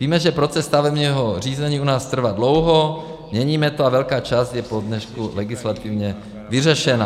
Víme, že proces stavebního řízení u nás trvá dlouho, měníme to a velká část je po dnešku legislativně vyřešena.